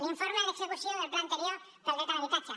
l’informe d’execució del pla anterior pel dret a l’habitatge